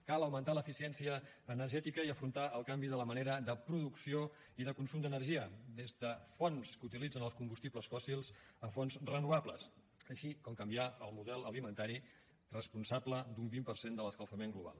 cal augmentar l’eficiència energètica i afrontar el canvi de la manera de producció i de consum d’energia des de fonts que utilitzen els combustibles fòssils fins a fonts renovables així com canviar el model alimentari responsable d’un vint per cent de l’escalfament global